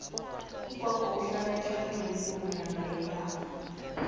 ugogo uhlala etlhagwini pumalanga yenarha